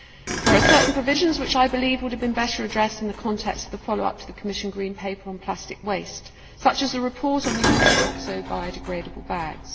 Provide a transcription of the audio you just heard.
There are certain provisions which I believe would have been better addressed in the context of the follow up to the Commission Green Paper on plastic waste, such as the report on the use of oxo biodegradable bags.